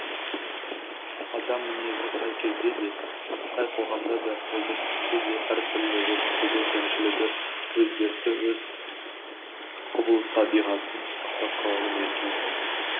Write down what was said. адам мінезі қай кезде де қай қоғамда да өмір сүрсе де әртүрлі жетістігі кемшілігі өз дерті өз құбылыс табиғатын сақтап қалады екен ғой